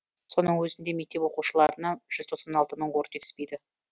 соның өзінде мектеп оқушыларына жүз тоқсан алты мың орын жетіспейді